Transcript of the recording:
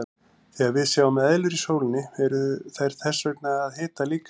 Þegar við sjáum eðlur í sólinni eru þær þess vegna að hita líkamann.